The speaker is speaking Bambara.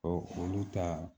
Ɔ olu ta